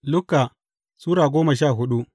Luka Sura goma sha hudu